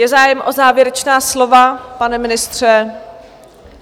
Je zájem o závěrečná slova, pane ministře?